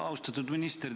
Austatud minister!